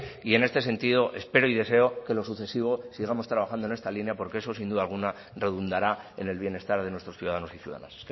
y en este sentido espero y deseo que en lo sucesivo sigamos trabajando en esta línea porque eso sin duda alguna redundará en el bienestar de nuestros ciudadanos y ciudadanas